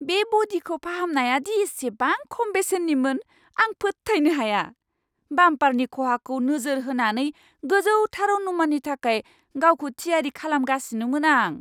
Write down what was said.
बे ब'डिखौ फाहामनाया दि इसिबां खम बेसेननिमोन, आं फोथायनो हाया! बाम्पारनि खहाखौ नोजोर होनानै गोजौथार अनुमाननि थाखाय गावखौ थियारि खालामगासिनोमोन आं!